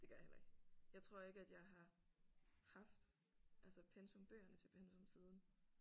Det gør jeg heller ikke. Jeg tror ikke at jeg har haft altså pensum bøgerne til pensum siden